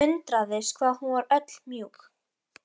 Undraðist hvað hún var öll mjúk.